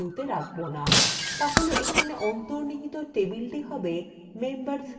তাহলে এখানে অন্তর্নিহিত টেবিলটি হবে members table